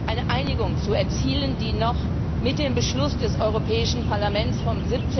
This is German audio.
eine Einigung zu erzielen, die noch mit dem Beschluss des Europäischen Parlaments vom